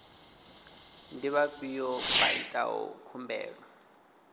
ndi vhafhio vha itaho khumbelo